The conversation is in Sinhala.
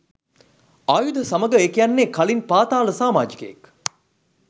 ආයුධ සමඟ ඒ කියන්නේ කලින් පාතාල සාමාජිකයෙක්.